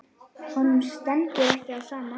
Honum stendur ekki á sama.